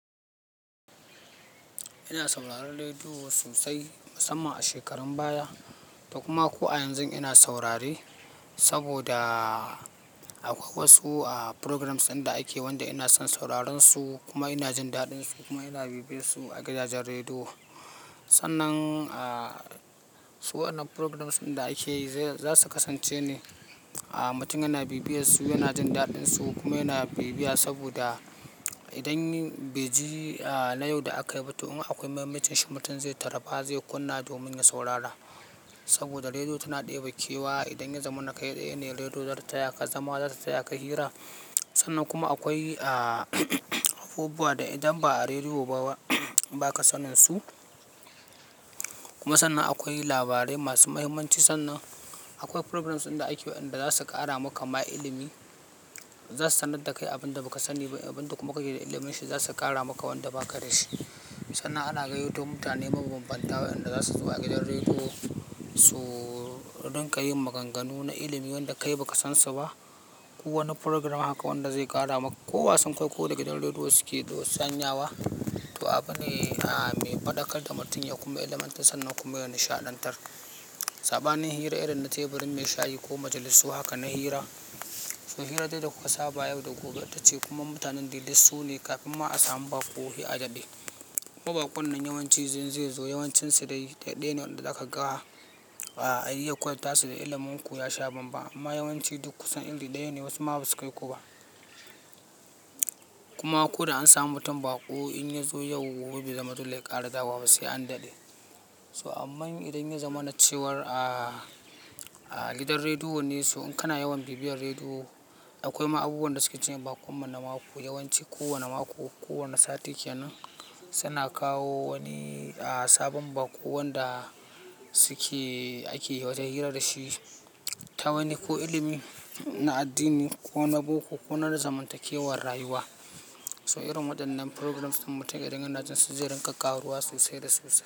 Ina sauraron rediyo sosai, musamman a shekarun baya, da kuma ko a yanzu ina saurare, saboda akwai wasu programs inda ake wanda ina son sauraron su, kuma ina jin daɗin su, kuma ina bibiyarsu a gidajen rediyo. Sannan, su wannan programs inda ake za su kasance ne a matakin ana bibiyarsu, ina jin daɗin su kuma ina bibiya saboda idan bai ji na yau da aka yi ba, toh in ma akwai mahimmancin shi mutum zai taraba zai kunna domin ya saurara. Saboda rediyo tana ɗaya bakewa idan ya zama na kai ɗaya ne rediyo zata tayaka zama, zata tayaka hira. Sannan kuma akwai abubuwa da idan ba a rediyo ba baka sanin su. Kuma sannan akwai labarai masu muhimmanci, sannan akwai programs inda ake inda za su ƙara maka ma'ilimi, za su sanar da kai abin da ba ka sani ba, abin da kuma kake da ilimin shi za su ƙara maka wanda ba ka da shi. Sannan ana gayyato mutane mabambantawa wanda za su zo a gidan rediyo, su don ka yi maganganu na ilimi wanda kai ba ka san sa ba. Ko wani program haka wanda zai ƙara maka. Ko wasan kwaikwayo da gidan rediyo suke sanya wa, to abu ne mai faɗakar da mutum ya kuma ilimantar sannan kuma ya nishaɗantar. Saɓanin hira irin na teburin mai shayi ko majalisu haka na hira, su hira dai da kuka saba yau da gobe, ita ce kuma mutanen dai lissune kafin ma a samu baƙo a yaɗaɗe. Kuma baƙon nan yawanci zai zo yawancin su dai ɗaya ne wanda aka gawa a yi ya ƙwaifta su da ilimin ku ya sha banba amma yawanci duk kusan irin ɗaya ne wasu ma basu kai ku ba. Kuma ko da an samu mutum baƙo, in ya zo yau gobe bazama dole ya ƙara dawa ba sai an daɗe. So aman idan ya zama na cewar a gidan rediyo ne, su, in kana yawan bibiyar rediyo, akwai ma abubuwa wanda suke cire baƙon mana mako yawanci kowane mako, kowane sati kenan suna kawo wani sabon baƙo wanda suke, ake yi wata hira da shi ta wani ko ilimi na addini, ko na boko, ko na zamantakewar rayuwa. To irin waɗannan programs din mutum ya dan dinga jin su, zai rika kawo ruwa sosai da sosai.